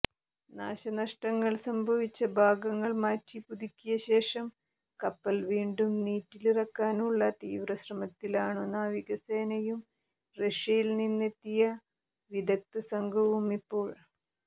നാശനഷ്ടങ്ങൾ സംഭവിച്ച ഭാഗങ്ങൾമാറ്റി പുതുക്കിയശേഷം കപ്പൽ വീണ്ടും നീറ്റിലിറക്കാനുള്ള തീവ്രശ്രമത്തിലാണു നാവികസേനയും റഷ്യയിൽനിന്നെത്തിയ വിദഗ്ധസംഘവും ഇപ്പോൾ